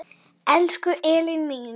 Elsku Elín mín.